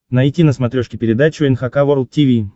найти на смотрешке передачу эн эйч кей волд ти ви